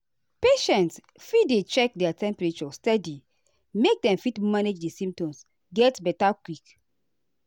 patients fit dey check their temperature steady make dem fit manage di symptoms get beta quick.